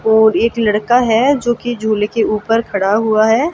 और एक लड़का है जो कि झूले के ऊपर खड़ा हुआ है।